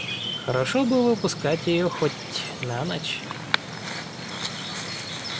хорошо бы выпускать её хоть на ночь